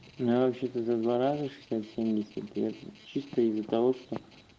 я вообще-то за два раза исто из-за того что